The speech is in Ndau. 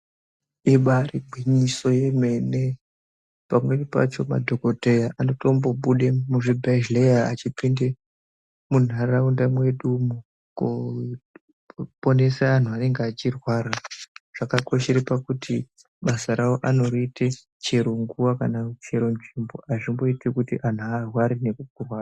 Ibairi gwinyiso yemene pamweni pacho madhokodheya anotombo bude muzvibhehleya achipinde mundaraunda mwedu umukoponesa anhu aneachirwara zvakakoshere pakuti basa rawo anoriite chero nguwa kanachero nzvimbo azvichaiiti kuti antu arware nekuguma.